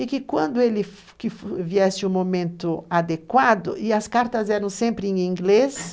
E que quando ele viesse o momento adequado, e as cartas eram sempre em inglês,